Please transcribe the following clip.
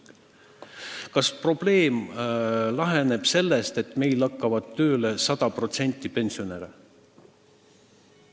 Kas probleem laheneb, kui 100% pensionäre käib tööl?